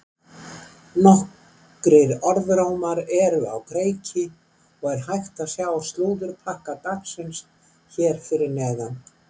Nokkrir orðrómar eru á kreiki og er hægt að sjá slúðurpakka dagsins hér fyrir neðan.